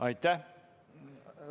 Aitäh!